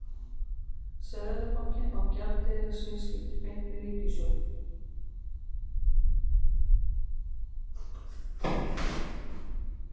Seðlabankinn á gjaldeyrisviðskipti beint við ríkissjóð.